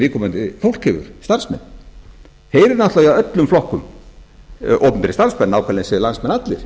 viðkomandi fólk hefur starfsmenn þeir eru náttúrlega í öllum flokkum opinberir starfsmenn nákvæmlega eins og landsmenn allir